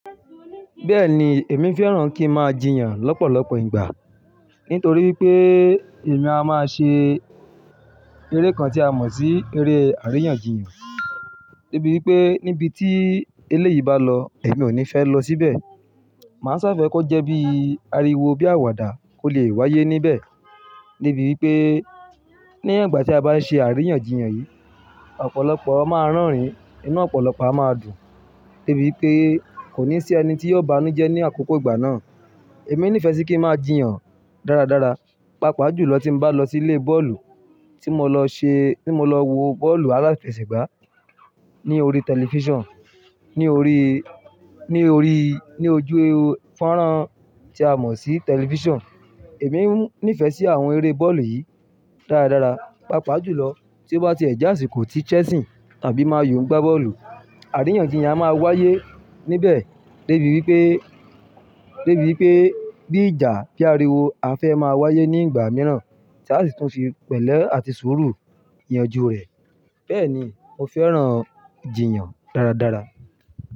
Bẹ́ẹ̀ni, èmi fẹ́ràn kí n máa jiyàn lọ́pọ̀lọpọ̀ ìgbà nitorí wipé èmi a máa ṣe eré kan tí a mọ̀ sí eré àríyànjiyàn. De'bí wipé níbi tí eléyìí bá lọ, èmi ò ní fẹ́ lọ síbẹ̀. Màá ṣafẹ́ kó jẹ́ bí ariwo bí àwàdà kò lè wáyé níbẹ̀. De'bi wipé ní ìgbà tí a bá ń ṣe àríyànjiyàn yìí, ọ̀pọ̀lọpọ̀ máa rerin, inú ọ̀pọ̀lọpọ̀ á máa dùn. De'bí wipé kò ní sí ẹni tí yóò banújẹ́ ní àkókò ìgbà náà. Èmi nífẹ̀ẹ́ sí kí n máa jiyàn dáradára, pàápàá jùlọ tí n bá lọ sí ilé bọ́ọ̀lù tí mo lọ ṣe, tí mo lọ wo bọ́ọ̀lù aláfẹsẹ̀gbá ní orí tẹlifíṣàn, ní orí, ní orí, ní ojú fọ́nrán tí a mọ̀ sí tẹlifíṣàn. Èmi nífẹ̀ẹ́ sí àwọn eré bọ́ọ̀lù yìí dáradára, pàápàá jùlọ tí ó bá ti ẹ̀ je asìkó ti Chelsea tàbí Man U ń gbá bọ́ọ̀lù. Àríyànjiyàn a máa wáyé níbẹ̀ de bí wipé, dẹ́ bí wipé bí ìjà bí ariwo á fẹ́ máa wáyé ní ìgbà mìíràn tí a sì tún fi pẹ̀lẹ́ àti sùúrù yanju rẹ̀. Bẹ́ẹ̀ ni, mo fẹ́ràn jiyàn dáradára.